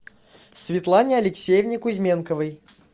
светлане алексеевне кузьменковой